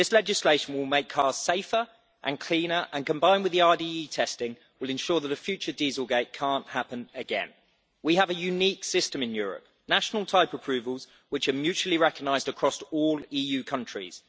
This legislation will make cars safer and cleaner and, combined with the RDE testing, will ensure that a future dieselgate' can't happen again. We have a unique system in Europe national type approvals, which are mutually recognised across all EU countries.